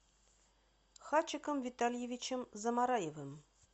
хачиком витальевичем замараевым